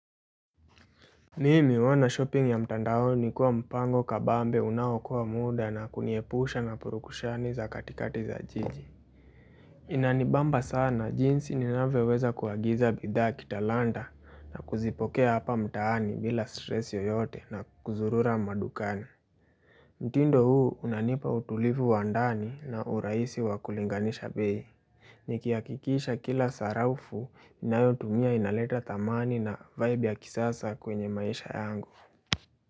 Mimi huona shopping ya mtandaoni kuwa mpango kabambe unaokoa muda na kuniepusha na purukushani za katikati za jiji. Inanibamba sana jinsi ninavyoweza kuagiza bidhaa kitalanta na kuzipokea hapa mtaani bila stress yoyote na kuzurura madukani. Mtindo huu unanipa utulivu wa ndani na urahisi wa kulinganisha bei. Nikihakikisha kila sarafu inayotumia inaleta thamani na vibe ya kisasa kwenye maisha yangu.